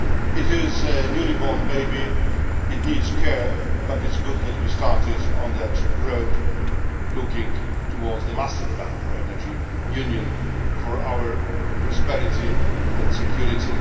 It is a newly born baby, it needs care, but it is good that we have started on that road looking towards the master plan for Energy Union for our prosperity and security.